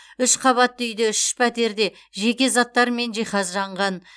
үш қабатты үйде үш пәтерде жеке заттар мен жиһаз жанған